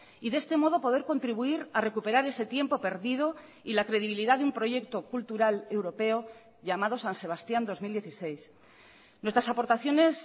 y de este modo poder contribuir a recuperar ese tiempo perdido y la credibilidad de un proyecto cultural europeo llamado san sebastián dos mil dieciséis nuestras aportaciones